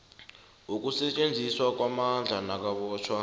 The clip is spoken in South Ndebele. yokusetjenziswa kwamandla nakubotjhwa